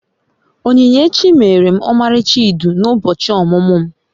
Onyinyechi meere m omalicha idu na ubochi omumu'm